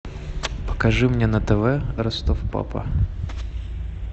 покажи мне на тв ростов папа